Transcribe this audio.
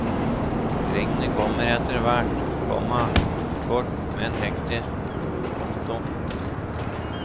Regnet kommer etterhvert, komma kort men hektisk. punktum